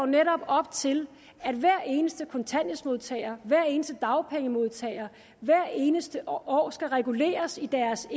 netop op til at hver eneste kontanthjælpsmodtager og hver eneste dagpengemodtager hvert eneste år skal reguleres i deres